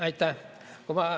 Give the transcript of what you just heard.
Aitäh!